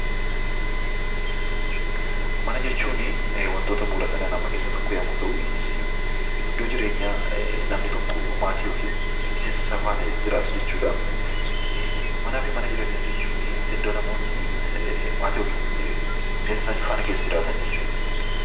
Mana jechuunii wantoota bu'uura dhala namaa keessaa tokko yommuu ta'u, innisii iddoo jireenyaa namni tokko maatii yookiin miseensa isaa faana jiraatu jechuu dhaa. Manaa fi mana jireenyaa jechuunii iddoo namoonni maatii yookiin miseensa isaanii faana keessa jiraatan jechuu dha.